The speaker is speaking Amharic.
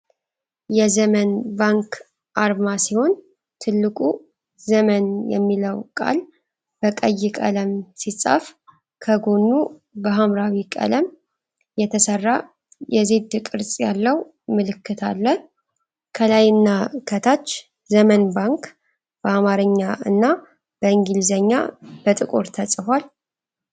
የዘመን ባንክ አርማ ሲሆን፣ ትልቁ "ዘመን" የሚለው ቃል በቀይ ቀለም ሲጻፍ፣ ከጎኑ በኃምራዊ ቀለም የተሰራ የዜድ ቅርጽ ያለው ምልክት አለ። ከላይ እና ከታች "ዘመን ባንክ" በአማርኛ እና በእንግሊዝኛ በጥቁር ተጽፏል።